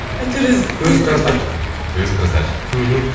әйтеуір өзі красавчик өзі красавчик мхм